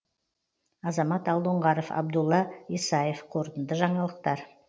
азамат алдоңғаров абдулла исаев қорытынды жаңалықтар